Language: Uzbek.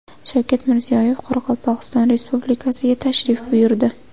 Shavkat Mirziyoyev Qoraqalpog‘iston Respublikasiga tashrif buyurdi.